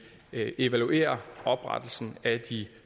evaluerer oprettelsen af de